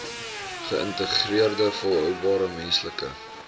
geïntegreerde volhoubare menslike